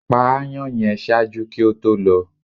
pa aàyàn yẹn! ṣaaju ki o to lọ